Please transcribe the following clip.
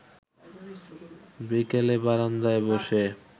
বিকেলে বারান্দায় বসে